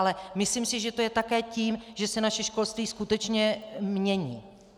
Ale myslím si, že to je také tím, že se naše školství skutečně mění.